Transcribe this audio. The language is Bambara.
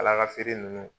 Kala ka feere nunnu